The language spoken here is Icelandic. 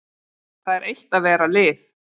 Það er eitt að vera lið.